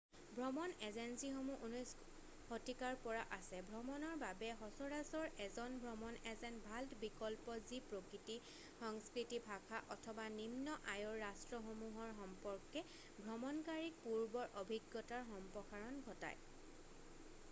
ভ্ৰমণ এজেঞ্চীসমূহ 19 শতিকাৰ পৰা আছে ভ্ৰমণৰ বাবে সচৰাচৰ এজন ভ্ৰমণ এজেণ্ট ভাল বিকল্প যি প্ৰকৃতি সংস্কৃতি ভাষা অথবা নিম্ন আয়ৰ ৰাষ্ট্ৰসমূহৰ সম্পৰ্কে ভ্ৰমণকাৰীক পূৰ্বৰ অভিজ্ঞতাৰ সম্প্ৰসাৰণ ঘটায়